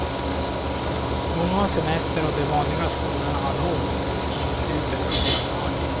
Många har semester och de vanliga skolorna har lov till i slutet av januari.